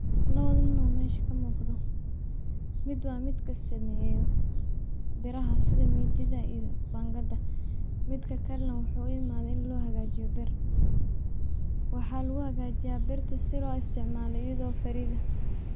La wada nin meshan ka muuqda. Mid waa mid ka sameeyo, beraha sida miidiyada iyo baanqada. Midka karnaa wuxuu imaa in loo hagaajiyo ber. Waxaad waa gaajaa barta si loo isticmaalo iyadoo fariida.